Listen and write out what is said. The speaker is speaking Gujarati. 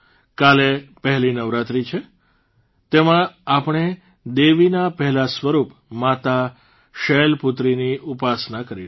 કાલે પહેલી નવરાત્રી છે તેમાં આપણે દેવીના પહેલા સ્વરૂપ માતા શૈલપૂત્રીની ઉપાસના કરીશું